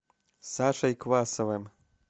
сашей квасовым